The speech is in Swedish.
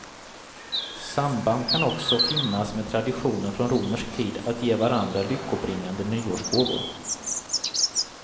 Samband kan också finnas med traditionen från romersk tid att ge varandra lyckobringande nyårsgåvor.